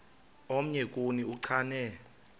omnye kuni uchane